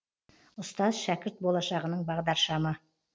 ұстаз шәкірт болашағының бағдаршамы